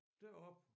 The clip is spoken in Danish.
Deroppe